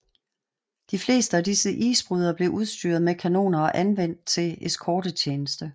De fleste af disse isbrydere blev udstyret med kanoner og anvendt til eskortetjeneste